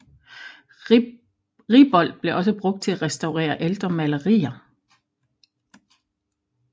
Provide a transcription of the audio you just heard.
Riboldt blev også brugt til at restaurere ældre malerier